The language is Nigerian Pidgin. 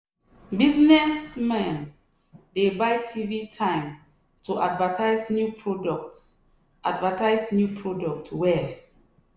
businessman dey buy tv time to advertise new product advertise new product well.